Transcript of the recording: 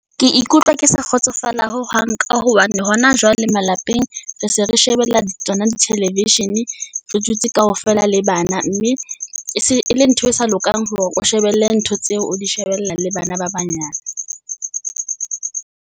Ke ikutlwa ke sa kgotsofala ho hang ka hobane hona jwale malapeng, re se re shebella di tsona di television-e, re dutse kaofela le bana. Mme e se e le ntho e sa lokang hore o shebelle ntho tseo, o di shebella le bana ba banyane.